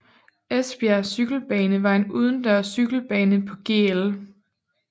Esbjerg Cykelbane var en udendørs cykelbane på Gl